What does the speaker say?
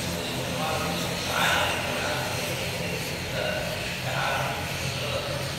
Isticmaalka sunta cayayaanka la'aanteed waxay keeni kartaa iska caabin cudurada.